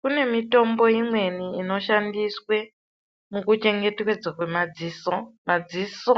Kune mitombo imweni inoshandiswa mukuchengetedzwa kwemadziso. Madziso